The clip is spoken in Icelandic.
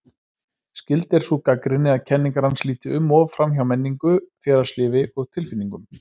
Skyld er sú gagnrýni að kenningar hans líti um of framhjá menningu, félagslífi og tilfinningum.